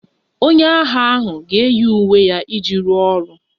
Onye agha ahụ ga-eyi uwe ya iji rụọ ọrụ